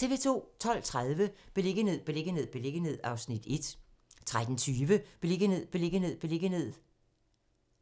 12:30: Beliggenhed, beliggenhed, beliggenhed (Afs. 1) 13:20: Beliggenhed, beliggenhed, beliggenhed